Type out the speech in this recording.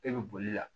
E bɛ boli la